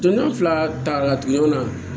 Donn'a fila taga la tugun na